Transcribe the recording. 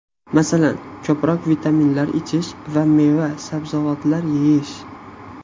Masalan, ko‘proq vitaminlar ichish va meva, sabzavotlar yeyish.